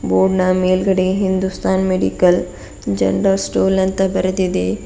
ಬೋರ್ಡ್ನ ಮೇಲ್ಗಡೆ Hindustan medical general store ಅಂತ ಬರೆದಿದೆ.